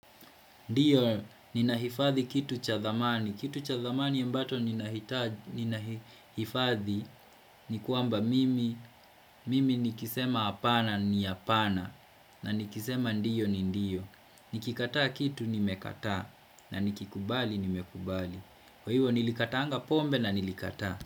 Ndiyo, nina hifathi kitu cha thamani. Kitu cha thamani embato nina hifathi ni kuamba mimi, mimi nikisema apana ni apana na nikisema ndiyo ni ndiyo. Nikikata kitu nimekata na nikikubali nimekubali. Kwa hivo nilikataanga pombe na nilikata.